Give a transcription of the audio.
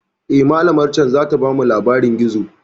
Eh, malamar can zata bamu labarin gizo.